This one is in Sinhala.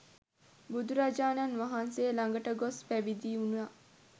බුදුරජාණන් වහන්සේ ළඟට ගොස් පැවිදිවුණා.